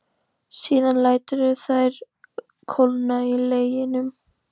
Síðan læturðu þær kólna í leginum.